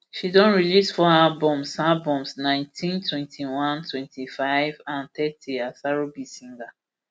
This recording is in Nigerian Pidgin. she don release four albums albums nineteen twenty-one twenty-five and thirty as rb singer